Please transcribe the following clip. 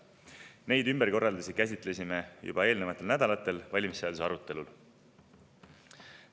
Neid ümberkorraldusi käsitlesime juba eelnevatel nädalatel valimisseaduse arutelul.